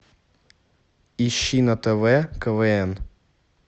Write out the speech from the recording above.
ищи на тв квн